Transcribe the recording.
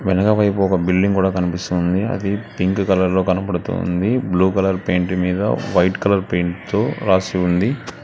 వెనకపైపు ఒక బిల్డింగ్ కూడా కనిపిస్తుంది అది పింక్ కలర్ లో కనపడుతుంది బ్లూ కలర్ పెయింట్ తో వైట్ కలర్ పెయింట్ తో రాసి ఉంది.